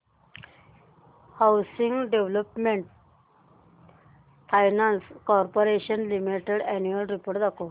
housing development finance corporation limited annual report दाखव